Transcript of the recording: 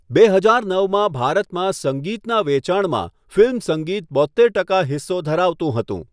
બે હજાર નવમાં ભારતમાં સંગીતના વેચાણમાં ફિલ્મ સંગીત બોત્તેર ટકા હિસ્સો ધરાવતું હતું.